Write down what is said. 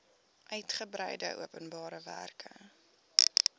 uitgebreide openbare werke